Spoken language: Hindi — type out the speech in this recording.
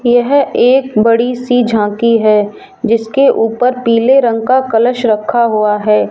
यह एक बड़ी सी झांकी है जिसके ऊपर पीले रंग का कलश रखा हुआ है।